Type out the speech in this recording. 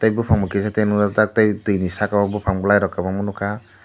buphang bo kisate nukjak tak tei tui ni saka o buphang bwlairok kubangma nukha.